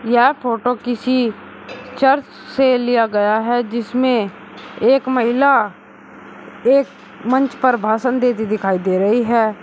यह फोटो किसी चर्च से लिया गया है जिसमें एक महिला एक मंच पर भाषण देती दिखाई दे रही है।